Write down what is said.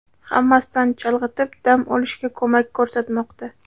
Hammasidan chalg‘itib, dam olishga ko‘mak ko‘rsatmoqda.